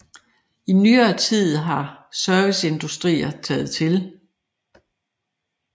I nyere tid har serviceindustrier taget til